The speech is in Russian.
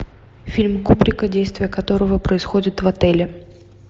фильм кубрика действия которого происходят в отеле